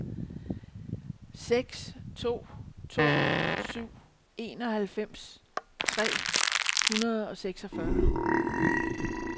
seks to to syv enoghalvfems tre hundrede og seksogfyrre